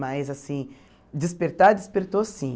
Mas, assim, despertar, despertou, sim.